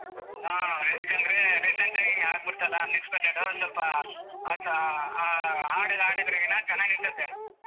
ಹಾ ಎದುಕಂದ್ರೆ recent ಆಗಿ ಆಗ್ಬಿಡ್ತಲ್ಲ unexpected ಸ್ವಲ್ಪ ಆ ಆ ಹಾಡಿಗ್ ಹಾಡಿದ್ರೆ ಇನ್ನಾ ಚೆನ್ನಾಗಿರ್ತೈತೆ.